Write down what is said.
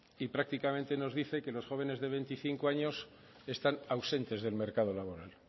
y prácticamente nos dicen que los jóvenes de veinticinco años están ausentes del mercado laboral